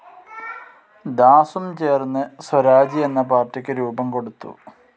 ദാസും ചേർന്ന് സ്വരാജ് എന്ന പാർട്ടിക്കു രൂപം കൊടുത്തു.